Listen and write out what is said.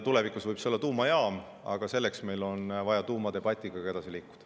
Tulevikus võib see olla tuumajaam, aga selleks on vaja tuumadebatiga edasi liikuda.